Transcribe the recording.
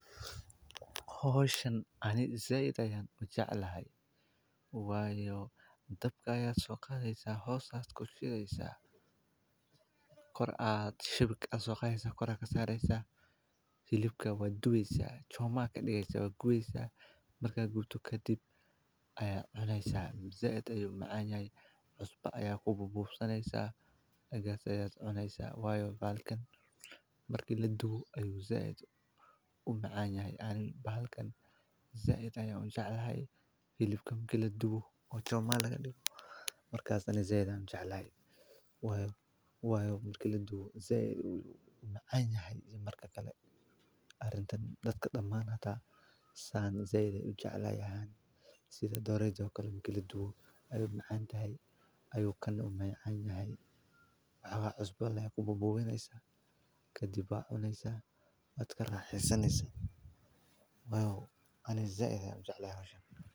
Xilibka oo la dubto waa hab cunto karis ah oo dhaqameed, aadna looga isticmaalo deegaannada Soomaalida, gaar ahaan marka la sameynayo xafladaha, marti-soorka, ama cuntooyin gaar ah. Xilibku waa hilibka laga gooyo neefka la qalay — sida lo’da, ariga, ama geela — waxaana la jarjaraa si aan aad u waaweynayn. Ka hor inta aan la dubin, xilibka waxaa lagu xardhaa xawaash, milix iyo saliid ama subag si uu u yeesho dhadhan iyo udgoon fiican.